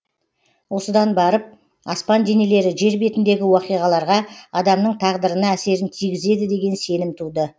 осыдан барып аспан денелері жер бетіндегі уақиғаларға адамның тағдырына әсерін тигізеді деген сенім туды